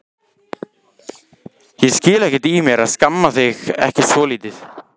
Ég skil ekkert í mér að skamma þig ekki svolítið.